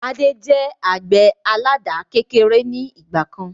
Adé jẹ àgbẹ̀ àládà kékeré ni ìgbàkan